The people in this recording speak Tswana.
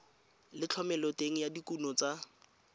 le thomeloteng ya dikuno tsa